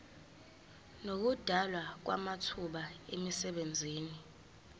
nokudalwa kwamathuba emisebenzi